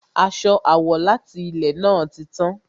Aṣọ àwọ̀ láti ilè náà ti tán